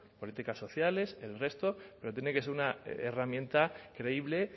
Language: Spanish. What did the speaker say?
políticas sociales el resto pero tiene que ser una herramienta creíble